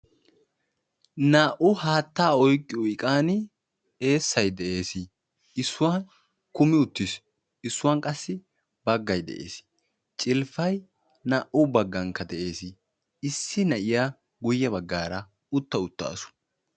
Naa"u haatta oyqqiyo iqaan eessay de'ees. Issuwan kummi uttiis. Issuwan qassi baggay de'ees. Calppay naa"u baggankka de'ees. Issi na'iya miyye baggaara utta uttawus.